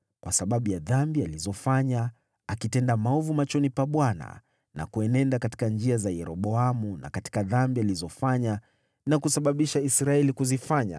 kwa sababu ya dhambi alizofanya, akitenda maovu machoni pa Bwana na kuenenda katika njia za Yeroboamu na katika dhambi alizofanya na kusababisha Israeli kuzifanya.